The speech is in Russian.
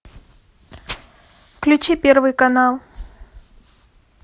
включи первый канал